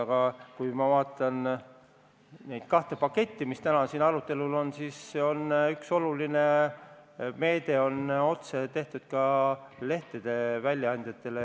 Aga kui ma vaatan neid kahte paketti, mis täna siin arutelu all on, siis näen, et neis on üks oluline meede tehtud ka lehtede väljaandjatele.